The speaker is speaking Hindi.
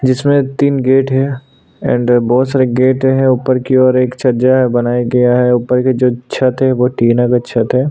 जिसमें तीन गेट है एंड बहुत सारे गेट है ऊपर की ओर एक छज्जा है बनाया गया है ऊपर की जो छत है वो टिन की छत है।